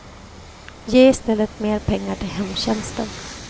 Ge i stället mer pengar till hemtjänsten.